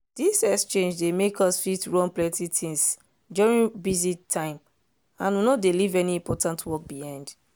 this exchange dey make us fit run plenty things during busy time and we no dey leave any important work behind.